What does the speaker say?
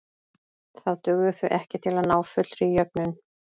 Þá dugðu þau ekki til að ná fullri jöfnun.